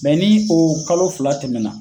ni o kalo fila tɛmɛ na